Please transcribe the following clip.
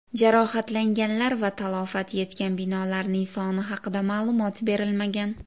Jarohatlanganlar va talafot yetgan binolarning soni haqida ma’lumot berilmagan.